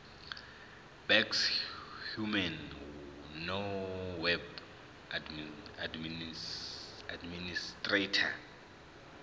baxhumane noweb administrator